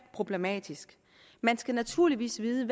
problematisk man skal naturligvis vide